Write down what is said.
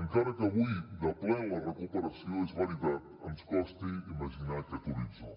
encara que avui de ple en la recuperació és veritat ens costi imaginar aquest horitzó